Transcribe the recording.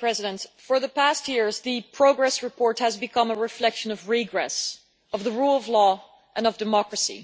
President, for the past years the progress report has become a reflection of regress of the rule of law and of democracy.